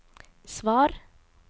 svar